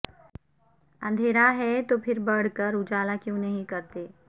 اندھیرا ہے تو پھر بڑھ کر اجالا کیوں نہیں کرتے